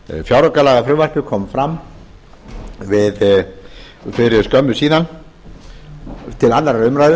fjáraukalagafrumvarpið kom fram fyrir skömmu síðan til annarrar umræðu